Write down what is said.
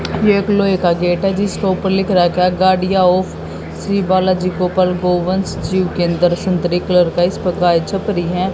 एक लोहे का गेट है जिसके ऊपर लिख रखा है गाड़ियां ऑफ श्री बालाजी गोपाल गोवंश जीव केंद्र संतरे कलर का इस पर गाय छाप रही हैं।